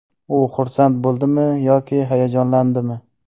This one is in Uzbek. U xursand bo‘ldimi yoki hayajonlandimi?